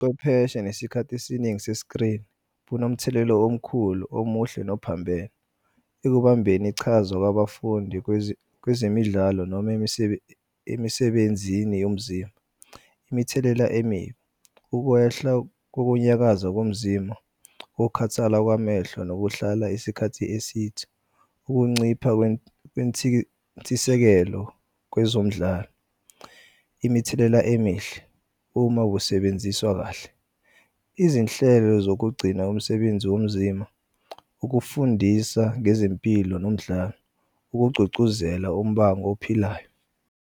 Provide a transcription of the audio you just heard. Chwepheshe nesikhathi esiningi sesikrini kunomthelela omkhulu omuhle nophambene. Ekubambeni ichaza kwabafundi kwezemidlalo noma emisebenzini yomzimba. Imithelela emibi ukwehla kokunyakaza komzimba, ukukhathala kwamehlo nokuhlala isikhathi esithe, ukuncipha nentsisekelo kwezomidlalo. Imithelela emihle uma kusebenziswa kahle, izinhlelo zokugcina umsebenzi womzimba, ukufundisa ngezempilo nomdlalo ukugcugcuzela umbang'ophilayo.